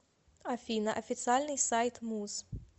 афина официальный сайт муз